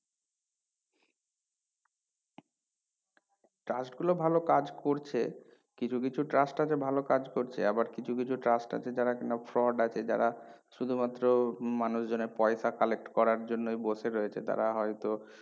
trust গুলো ভাল কাজ করছে কিছু কিছু trust আছে ভালো কাজ করছে আবার কিছু কিছু trust আছে যারা কিনা fraud আছে যারা শুধুমাত্র মানুষজন এর পয়সা collect করার জন্যই বসে রয়েছে তারা হয়তো